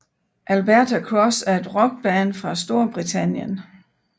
Alberta Cross er et rockband fra Storbritannien